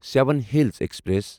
seven hills express